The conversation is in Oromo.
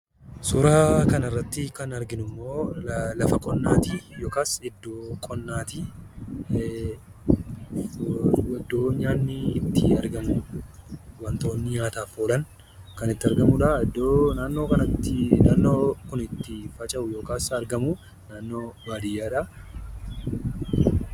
Suuraa kana irratti kan arginu immoo, lafa qonnaati akkasumas immoo iddoo qonnaati. Iddoon nyaanni itti argamuudha. Wantoonni nyaataaf oolan kan itti argamuudha. Iddoo naannoo kanatti naannoo itti faca'u yokiis argamu, naannoo baadiyaadha.